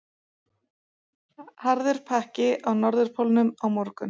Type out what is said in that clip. Harður pakki á Norðurpólnum á morgun